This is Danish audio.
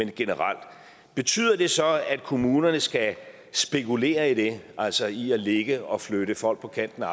det generelt betyder det så at kommunerne skal spekulere i det altså i at ligge og flytte folk på kanten af